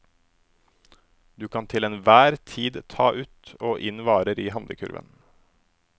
Du kan til enhver tid ta ut og inn varer i handlekurven.